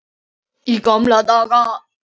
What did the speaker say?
Í gamla daga.